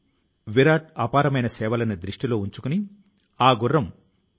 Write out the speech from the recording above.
ఇటువంటి అభిరుచి తో మన దేశం లోనూ చాలా మంది పనిచేస్తున్నారు